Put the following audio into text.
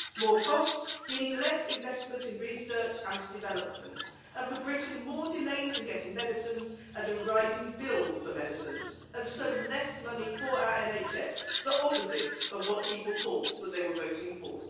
More cost, meaning less investment in research and development, and for Britain more delays in getting medicines and a rising bill for medicines, and so less money for our NHS the opposite of what people thought that they were voting for.